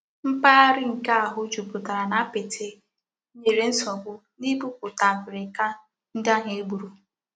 Mpaghara nke àhû juputara n'apiti nyere nsogbu n'ibuputa abirika ndi ahu egburu.